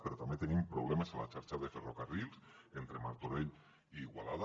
però també tenim problemes a la xarxa de ferrocarrils entre martorell i igualada